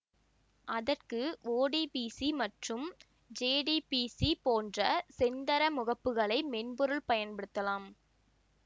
அதற்கு O D B C மற்றும் J D B C போன்ற செந்தர முகப்புகளை மென்பொருட்கள் பயன்படுத்தலாம்